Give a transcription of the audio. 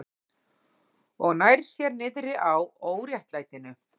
Og nær sér niðri á óréttlætinu.